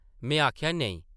में आखेआ, नेईं ।